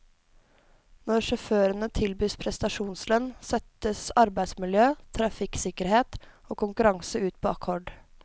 Når sjåførene tilbys prestasjonslønn, settes arbeidsmiljø, trafikksikkerhet og konkurranse ut på akkord.